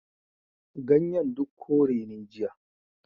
Ganyen duk kore ne jiya.